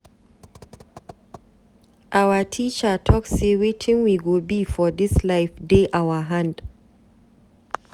Our teacher talk sey wetin we go be for dis life dey our hand.